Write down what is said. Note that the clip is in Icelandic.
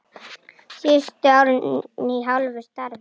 Síðustu árin í hálfu starfi.